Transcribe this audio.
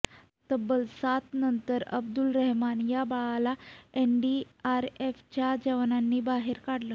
तब्बल सातानंतर अब्दुल रेहमान या बाळाला एनडीआरएफच्या जवानांनी बाहेर काढलं